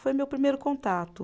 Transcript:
Foi meu primeiro contato.